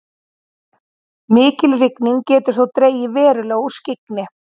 mikil rigning getur þó dregið verulega úr skyggni